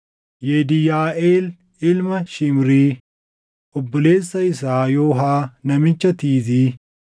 Yediʼyaaʼeel ilma Shimrii, obboleessa isaa Yoohaa namicha Tiizii,